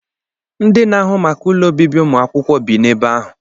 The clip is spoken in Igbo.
Ndị n'ahụ maka ụlọ obibi ụmụ akwụkwọ bị n'ime ebe ahụ